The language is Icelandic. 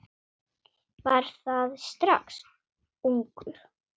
Var það strax ungur.